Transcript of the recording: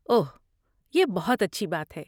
اوہ، یہ بہت اچھی بات ہے۔